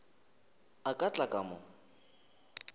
a ka tla ka mo